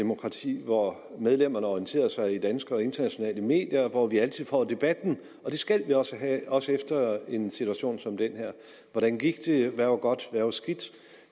demokrati hvor medlemmerne orienterer sig i danske og internationale medier og hvor vi altid får debatten og det skal vi også have også efter en situation som den her hvordan gik det hvad var godt hvad var skidt